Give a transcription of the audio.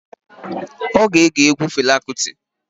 Ọ ga-ege egwu Fela Kuti.